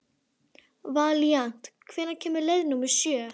Valíant, hvenær kemur leið númer sjö?